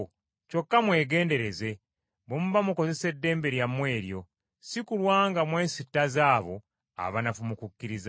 Kyokka mwegendereze bwe muba mukozesa eddembe lyabwe eryo, si kulwa nga mwesittaza abo abanafu mu kukkiriza.